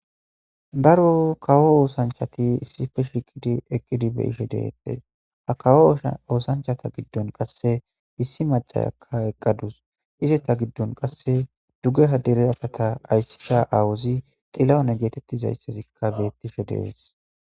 Daro kawo oosanchati issife shiqidi eqqidi beyishe deettes ha kawo oosanchata giddon qasse issi macayakka eqqadus ize ta giddon qasse dugge haddere afata ayssida awuzi xilawone geetettizayssazikka beettishe dees.